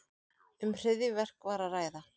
Um hryðjuverk var að ræða